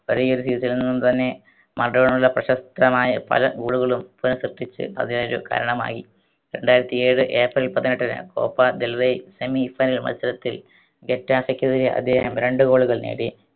ഒരേ ഒരു season ൽ നിന്ന് തന്നെ മറഡോണയുടെ പ്രശസ്തമായ പല goal കളും പ്പിച്ച് അതിനൊരു കാരണമായി രണ്ടായിരത്തി ഏഴ് ഏപ്രിൽ പതിനെട്ടിന് കോപ്പ ദെൽവേ semi final മത്സരത്തിൽ ഗെറ്റാസക്കെതിരെ അദ്ദേഹം രണ്ട് goal കൾ നേടി